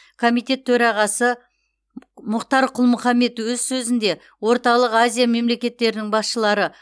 комитет төрағасы мұхтар құл мұхаммед өз сөзінде орталық азия мемлекеттерінің басшылары